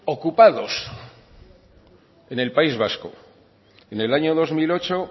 oiga ocupados en el país vasco en el año dos mil ocho